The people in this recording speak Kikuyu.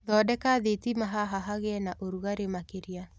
Thondeka thĩtĩma haha hagĩe na ũrũgare makĩria